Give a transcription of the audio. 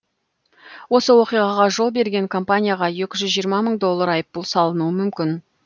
осы оқиғаға жол берген компанияға екі жүз жиырма мың доллар айыппұл салынуы мүмкін